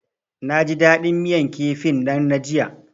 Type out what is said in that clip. Naji dadin miyan kifin nan na jiya.